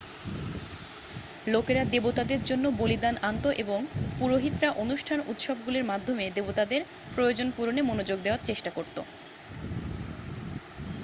লোকেরা দেবতাদের জন্য বলিদান আনত এবং পুরোহিতরা অনুষ্ঠান এবংউত্সবগুলির মাধ্যমে দেবতাদের প্রয়োজন পূরণে মনোযোগ দেয়ার চেষ্টা করত